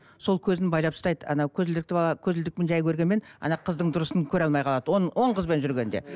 сол көзін байлап ұстайды анау көзілдірікті бала көзілдірікпен жай көргенмен ана қыздың дұрысын көре алмай қалады он он қызбен жүргенде